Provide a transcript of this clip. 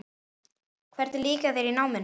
Hvernig líkaði þér í náminu?